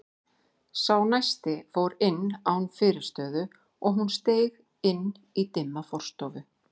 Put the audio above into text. Sá næsti fór inn án fyrirstöðu og hún steig inn í dimma forstofu.